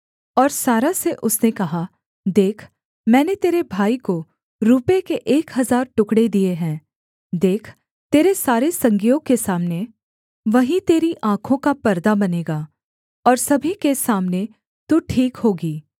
और सारा से उसने कहा देख मैंने तेरे भाई को रूपे के एक हजार टुकड़े दिए हैं देख तेरे सारे संगियों के सामने वही तेरी आँखों का परदा बनेगा और सभी के सामने तू ठीक होगी